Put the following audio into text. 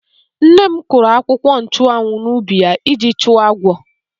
Nne m kụrụ akwụkwọ nchụ́anwu n'ubi ya iji chụọ agwọ.